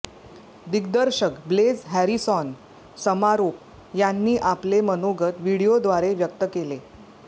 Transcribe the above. दिग्दर्शक Blaise Harrison समारोप यांनी आपले मनोगत व्हिडीओद्वारे व्यक्त केले